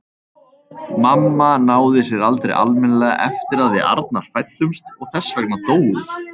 Mamma náði sér aldrei almennilega eftir að við Arnar fæddumst og þess vegna dó hún.